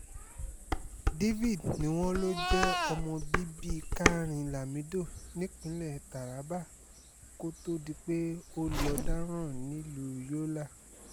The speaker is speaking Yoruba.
david ni wọ́n lọ jẹ́ ọmọ bíbí karin lamido nípínlẹ̀ taraba kó tóó di pé ó lọ́ọ́ dáràn nílùú yọlá